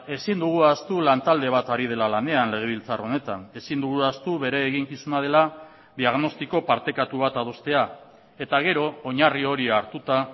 ezin dugu ahaztu lantalde bat ari dela lanean legebiltzar honetan ezin dugula ahaztu bere eginkizuna dela diagnostiko partekatu bat adostea eta gero oinarri hori hartuta